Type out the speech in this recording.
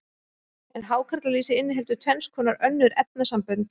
en hákarlalýsið inniheldur tvenns konar önnur efnasambönd